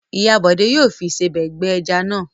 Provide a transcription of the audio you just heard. Ìyá Bọ̀dé yóò fi ìsebẹ̀ gbẹ ẹja náà.